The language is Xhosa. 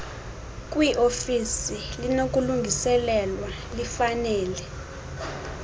kwiofisi linokulungiselelwa lifanele